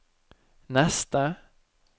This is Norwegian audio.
neste